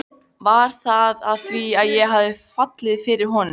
Var það af því að ég hafði fallið fyrir honum?